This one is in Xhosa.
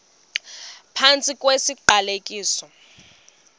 phantsi kwesi siqalekiso